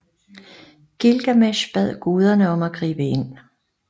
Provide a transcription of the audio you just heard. Gilgamesh bad guderne om at gribe ind